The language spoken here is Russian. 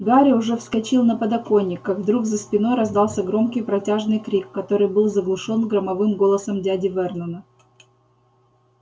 гарри уже вскочил на подоконник как вдруг за спиной раздался громкий протяжный крик который был заглушён громовым голосом дяди вернона